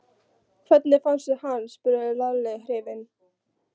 Hvernig fannstu hann? spurði Lalli hrifinn.